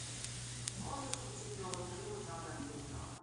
можешь включить новый фильм жанра криминал